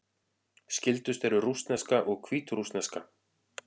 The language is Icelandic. Skyldust eru rússneska og hvítrússneska.